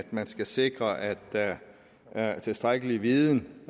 man skal sikre at der er tilstrækkelig viden